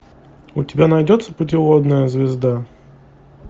у тебя найдется путеводная звезда